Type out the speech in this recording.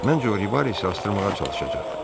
Məncə o Rivaresi asdırmağa çalışacaq.